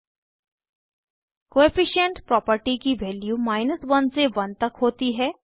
coefficient coefficient property की values 100 से 100 तक होती है